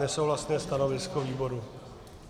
Nesouhlasné stanovisko výboru.